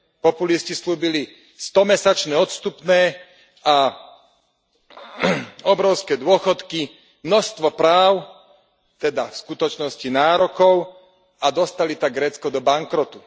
Populisti sľúbili stomesačné odstupné a obrovské dôchodky, množstvo práv, teda v skutočnosti nárokov, a dostali tak Grécko do bankrotu.